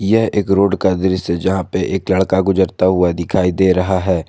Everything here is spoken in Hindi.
यह एक रोड का दृश्य जहां पे एक लड़का गुजरता हुआ दिखाई दे रहा है।